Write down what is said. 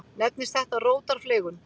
Nefnist þetta rótarfleygun.